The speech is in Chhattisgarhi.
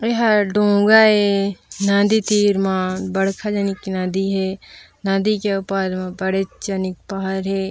एहर डोंगा ए नदी तीर म बड़खा जनीक नदी हे नदी के ओ पार म बड़ेच जनिक पहाड़ हे।